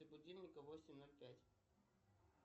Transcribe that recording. будильника восемь ноль пять